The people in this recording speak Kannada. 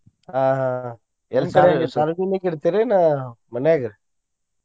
ಆಹ್ ಆಹ್ ಆಹ್ ಎಲ್ ಸಾರ್ವಜನಿಕ ಇಡ್ತೇರೇನಾ ಮನ್ಯಾಗ?